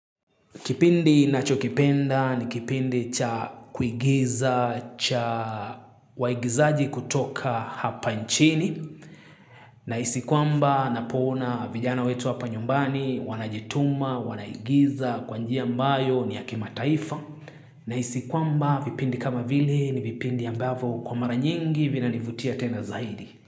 Kipindi ninachokipenda ni kipindi cha kuigiza, cha waigizaji kutoka hapa nchini. Nahisi kwamba napoona vijana wetu hapa nyumbani, wanajituma, wanaigiza, kwa njia ambayo ni ya kimataifa. Nahisi kwamba vipindi kama vile ni vipindi ambavyo kwa mara nyingi vinanivutia tena zaidi.